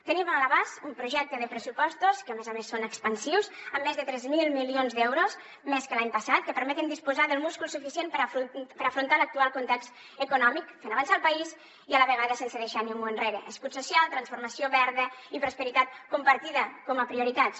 tenim a l’abast un projecte de pressupostos que a més a més són expansius amb més de tres mil milions d’euros més que l’any passat que permeten disposar del múscul suficient per afrontar l’actual context econòmic fent avançar el país i a la vegada sense deixar ningú enrere escut social transformació verda i prosperitat compartida com a prioritats